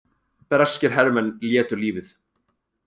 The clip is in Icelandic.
Breskir hermenn létu lífið